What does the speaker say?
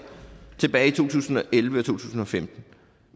tilbage i to tusind og elleve tusind og femten